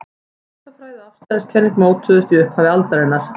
skammtafræði og afstæðiskenning mótuðust í upphafi aldarinnar